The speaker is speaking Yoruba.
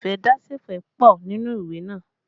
Ìfẹ́dásẹ̀fẹ̀ pọ nínú ìwé naa